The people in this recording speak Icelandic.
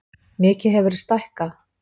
Mikið hefurðu stækkað.